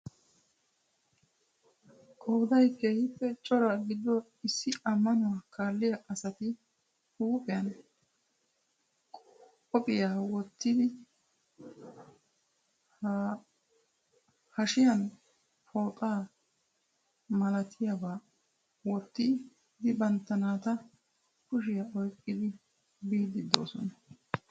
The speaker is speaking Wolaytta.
Qooday keehiippe cora gidido issi amanuwaa kaalliya asati huuphphiyan kopiyiya wottidi hashshiyan pooxa malattiyaba wottid bantta nata kushshiyaa oyqqidi biidi doosona.